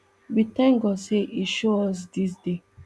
we tank god say e show us dis day